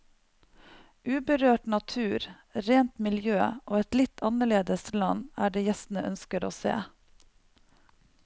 Uberørt natur, rent miljø og et litt annerledes land er det gjestene ønsker å se.